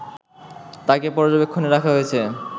তাকে পর্যবেক্ষণে রাখা হয়েছে